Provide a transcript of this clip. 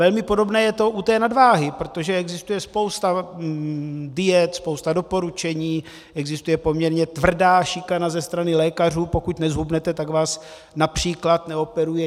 Velmi podobné je to u té nadváhy, protože existuje spousta diet, spousta doporučení, existuje poměrně tvrdá šikana ze strany lékařů, pokud nezhubnete, tak vás například neoperuje.